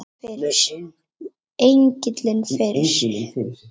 Virti engilinn fyrir sér.